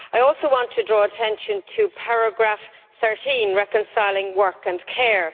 I also want to draw attention to paragraph 13, reconciling work and care.